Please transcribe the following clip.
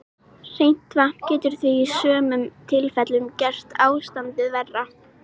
Hreint vatn getur því í sumum tilfellum gert ástandið verra.